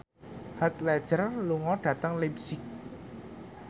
Heath Ledger lunga dhateng leipzig